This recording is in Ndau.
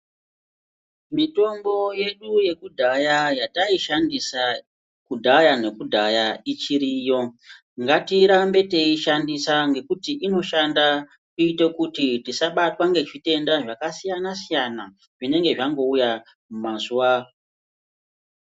Mitombo yedu yekudhaya yataishandisa kudhaya yekudhaya irichiriyo ngatirambe teishandisa ngekuti inoshanda tiite kuti tisabatwa ngezvitenda zvakasiyana siyana zvinenge zvangouya mazuva.